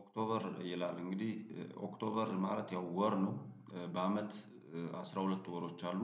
ኦክቶበር ይላል እንግዲህ ኦክቶበር ማለት ያው ወር ነው። በአመት አስራ ሁለት ወሮች አሉ።